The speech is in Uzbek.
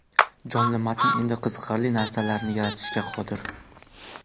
Jonli matn endi qiziqarli narsalarni yaratishga qodir.